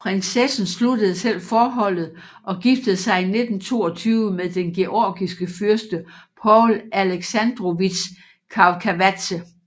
Prinsessen sluttede selv forholdet og giftede sig i 1922 med den georgiske fyrste Paul Aleksandrovitj Chavchavadze